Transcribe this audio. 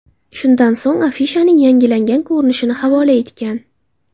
Shundan so‘ng afishaning yangilangan ko‘rinishini havola etgan.